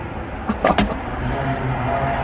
चंपा ने कहा